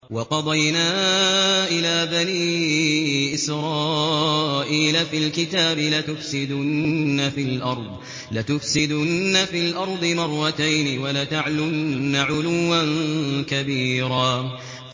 وَقَضَيْنَا إِلَىٰ بَنِي إِسْرَائِيلَ فِي الْكِتَابِ لَتُفْسِدُنَّ فِي الْأَرْضِ مَرَّتَيْنِ وَلَتَعْلُنَّ عُلُوًّا كَبِيرًا